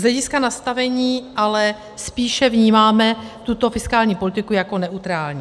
Z hlediska nastavení ale spíše vnímáme tuto fiskální politiku jako neutrální.